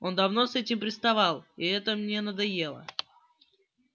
он давно с этим приставал и это мне надоело